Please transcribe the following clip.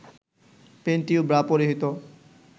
panty ও bra পরিহিত